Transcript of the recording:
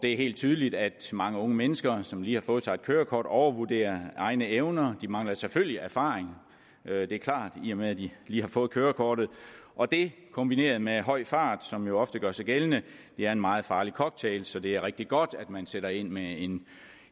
er helt tydeligt at mange unge mennesker som lige har fået sig et kørekort overvurderer egne evner de mangler selvfølgelig erfaring det er klart i og med at de lige har fået kørekortet og dét kombineret med høj fart som jo ofte gør sig gældende er en meget farlig cocktail så det er rigtig godt at man sætter ind med